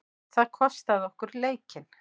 Það kostaði okkur leikinn.